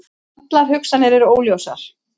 Allar hugsanir eru óljósar.